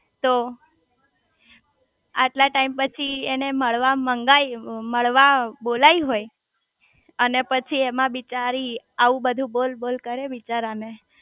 તો આટલા ટાઈમ પછી એને મળવા મંગાવી મળવા બોલાઈ હોય અને પછી એમાં બિચારી આવું બધું બોલ બોલ કરે બિચારા ને